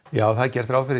já það er gert ráð fyrir